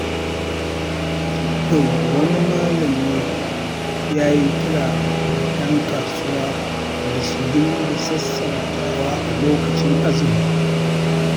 Wani malami ya yi kira ga 'yan kasuwa da su dinga sassautawa alokacin azumi.